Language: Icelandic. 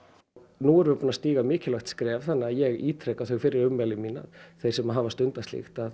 nú erum við búin að stíga mikilvægt skref þannig að ég ítreka þau fyrri ummæli mín að þeir sem hafa stundað slíkt